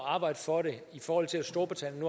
at arbejde for det i forhold til at storbritannien